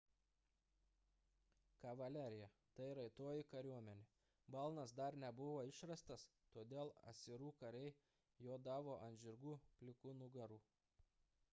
kavalerija – tai raitoji kariuomenė balnas dar nebuvo išrastas todėl asirų kariai jodavo ant žirgų plikų nugarų